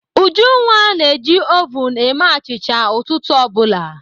Ujunwa na-eji ovun eme achịcha ụtụtụ ọ bụla.